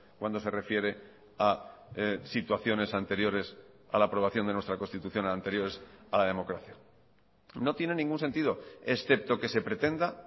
cuando se refiere a situaciones anteriores a la aprobación de nuestra constitución anteriores a la democracia no tienen ningún sentido excepto que se pretenda